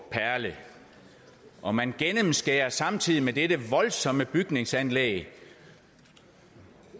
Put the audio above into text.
og man gennemskærer samtidig med dette voldsomme bygningsanlæg